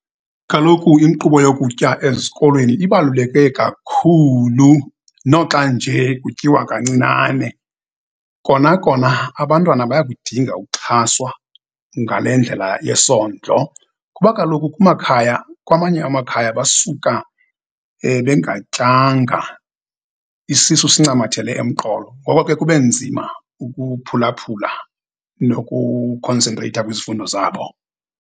Kaloku inkqubo yokutya ezikolweni ibaluleke kakhulu, noxa nje kutyiwa kancinane, kona kona abantwana bayakudinga ukuxhaswa ngale ndlela yesondlo, kuba kaloku kumakhaya kwamanye amakhaya basuka bengatyanga, isisu sincamathele emqolo. Ngoko ke kube nzima ukuphulaphula nokukhonsentreyitha kwizifundo zabo.